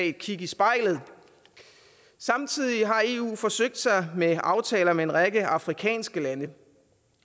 et kig i spejlet samtidig har eu forsøgt sig med aftaler med en række afrikanske lande